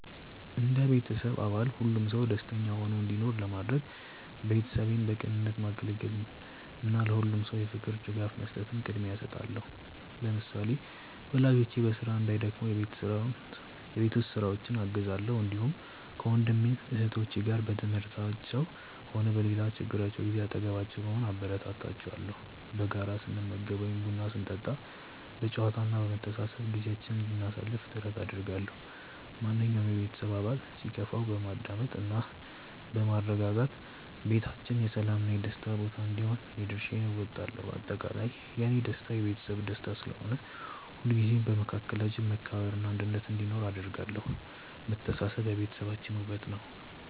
እንደ ቤተሰብ አባል ሁሉም ሰው ደስተኛ ሆኖ እንዲኖር ለማድረግ፣ ቤተሰቤን በቅንነት ማገልገልን እና ለሁሉም ሰው የፍቅር ድጋፍ መስጠትን ቅድሚያ እሰጣለሁ። ለምሳሌ፣ ወላጆቼ በስራ እንዳይደክሙ የቤት ውስጥ ስራዎችን አግዛለሁ፣ እንዲሁም ከወንድም እህቶቼ ጋር በትምህርታቸውም ሆነ በሌላ ችግራቸው ጊዜ አጠገባቸው በመሆን አበረታታቸዋለሁ። በጋራ ስንመገብ ወይም ቡና ስንጠጣ በጨዋታ እና በመተሳሰብ ጊዜያችንን እንድናሳልፍ ጥረት አደርጋለሁ። ማንኛውም የቤተሰብ አባል ሲከፋው በማዳመጥ እና በማረጋጋት ቤታችን የሰላም እና የደስታ ቦታ እንዲሆን የድርሻዬን እወጣለሁ። በአጠቃላይ፣ የእኔ ደስታ የቤተሰቤ ደስታ ስለሆነ፣ ሁልጊዜም በመካከላችን መከባበር እና አንድነት እንዲኖር አደርጋለሁ። መተሳሰብ የቤታችን ውበት ነው።